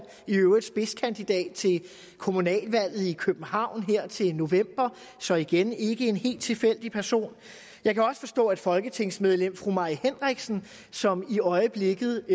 i øvrigt spidskandidat til kommunalvalget i københavn her til november så igen ikke en helt tilfældig person jeg kan også forstå at folketingsmedlem fru mai henriksen som i øjeblikket